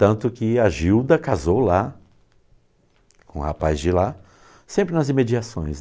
Tanto que a Gilda casou lá, com um rapaz de lá, sempre nas imediações.